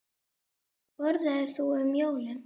Hvað borðar þú um jólin?